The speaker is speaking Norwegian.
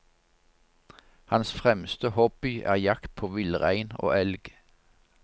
Hans fremste hobby er jakt på villrein og elg.